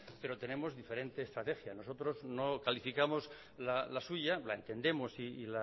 pero tenemos diferente estrategia nosotros no calificamos la suya la entendemos